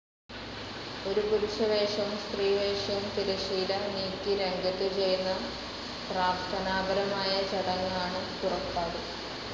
ഒരു പുരുഷവേഷവും സ്ത്രീവേഷവും തിരശീല നീക്കി രംഗത്തു ചെയ്യുന്ന പ്രാർത്ഥനാപരമായ ചടങ്ങാണ് പുറപ്പാട്.